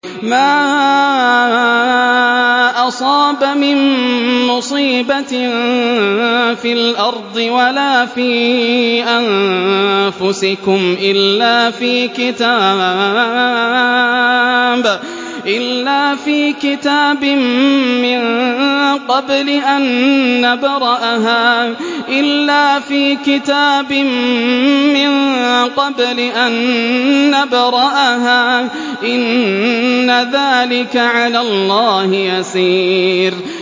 مَا أَصَابَ مِن مُّصِيبَةٍ فِي الْأَرْضِ وَلَا فِي أَنفُسِكُمْ إِلَّا فِي كِتَابٍ مِّن قَبْلِ أَن نَّبْرَأَهَا ۚ إِنَّ ذَٰلِكَ عَلَى اللَّهِ يَسِيرٌ